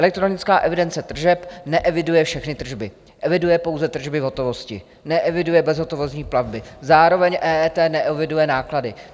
Elektronická evidence tržeb neeviduje všechny tržby, eviduje pouze tržby v hotovosti, neeviduje bezhotovostní platby, zároveň EET neeviduje náklady.